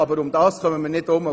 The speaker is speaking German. Daran führt kein Weg vorbei.